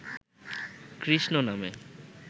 কৃষ্ণনামে